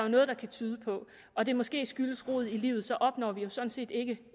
noget der kan tyde på og det måske skyldes rod i livet opnår vi jo sådan set ikke